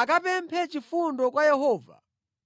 akapemphe chifundo kwa Yehova